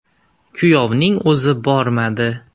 Kuyovning o‘zi bormadi.